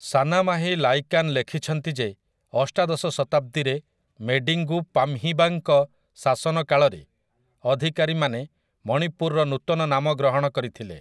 ସାନାମାହି ଲାଇକାନ୍ ଲେଖିଛନ୍ତି ଯେ ଅଷ୍ଟାଦଶ ଶତାବ୍ଦୀରେ ମେଡିଙ୍ଗୁ ପାମ୍‌ହିବାଙ୍କ ଶାସନ କାଳରେ ଅଧିକାରୀମାନେ ମଣିପୁରର ନୂତନ ନାମ ଗ୍ରହଣ କରିଥିଲେ ।